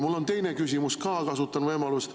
Mul on teine küsimus ka, kasutan võimalust.